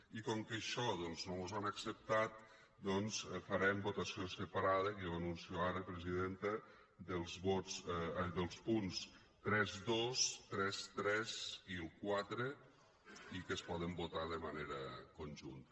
i com que això no mos ho han acceptat doncs farem votació separada que ja ho anuncio ara presidenta dels punts trenta dos trenta tres i el quatre que es poden votar de manera conjunta